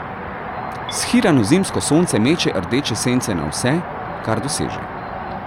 Shirano zimsko sonce meče rdeče sence na vse, kar doseže.